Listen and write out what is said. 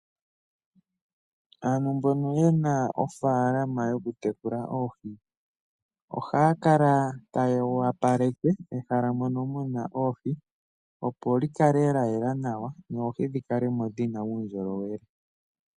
Aantu mbono ye na ofaalama yokutekula oohi ohaya kala taya wapaleke mehala mono mu na oohi opo li kale la yela nawa, noohi dhi kale mo dhi na uundjolowele.